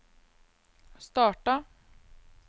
starta